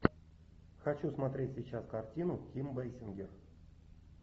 хочу смотреть сейчас картину ким бейсингер